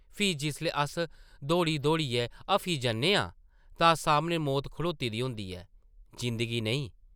फ्ही जिसलै अस दौड़ी-दौड़ियै हफी जन्ने आं तां सामनै मौत खड़ोती दी होंदी ऐ, जिंदगी नेईं ।